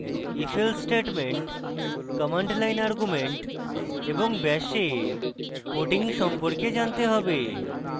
ifelse statement